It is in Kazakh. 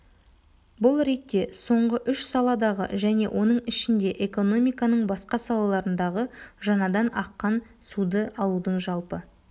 бұл ретте соңғы үш саладағы және оның ішінде экономиканың басқа салаларындағы жаңадан аққан суды алудың жалпы